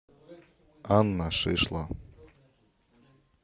анна шишло